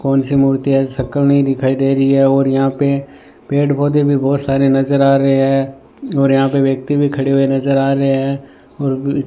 कौन सी मूर्ति है शक्ल नहीं दिखाई दे रही है और यहां पे पेड़ पौधे भी बहुत सारे नजर आ रहे हैं और यहां पे व्यक्ति भी खड़े हुए नजर आ रहे हैं और --